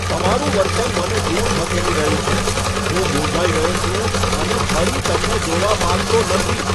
તમારું વર્તન મને દૂર ધકેલી રહ્યું છે. હું મૂંઝાઈ રહ્યો છું અને ફરી તમને જોવા માંગતો નથી!